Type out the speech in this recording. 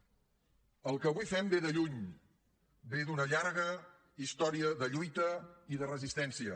el que avui fem ve de lluny ve d’una llarga història de lluita i de resistència